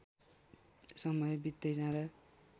समय वित्दै जाँदा